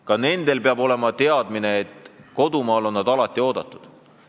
Ka nendel peab olema teadmine, et kodumaal on nad alati oodatud.